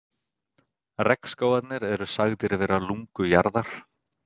Regnskógarnir eru sagðir vera lungu jarðar.